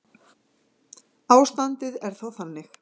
Ástandið er þá þannig